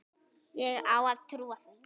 Á ég að trúa því?